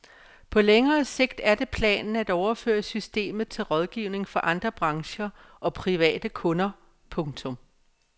På længere sigt er det planen at overføre systemet til rådgivning for andre brancher og private kunder. punktum